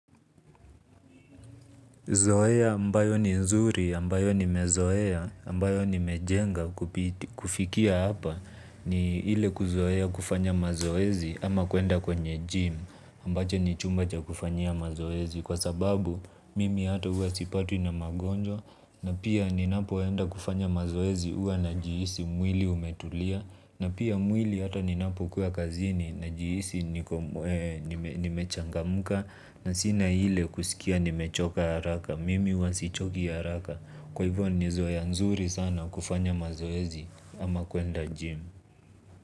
Zoea ambayo ni nzuri, ambayo ni mezoea, ambayo ni mejenga kufikia hapa ni ile kuzoea kufanya mazoezi ama kuenda kwenye gym ambacho ni chumba cha kufanyia mazoezi kwa sababu mimi hata huwa sipatwi na magonjwa na pia ninapoenda kufanya mazoezi huwa na jihisi mwili umetulia na pia mwili hata ninapo kuwa kazini na jihisi niko nimechangamuka. Na sina ile kusikia nimechoka haraka. Mimi huwa si choki haraka. Kwa hivyo ni zoea nzuri sana kufanya mazoezi ama kuenda jimu.